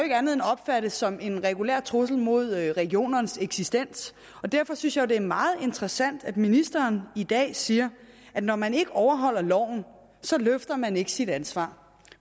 opfattes som andet end en regulær trussel mod regionernes eksistens og derfor synes jeg jo det er meget interessant at ministeren i dag siger at når man ikke overholder loven løfter man ikke sit ansvar